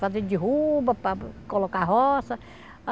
Fazer derruba para colocar roça.